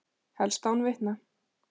Helst án vitna.